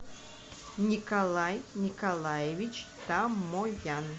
николай николаевич тамоян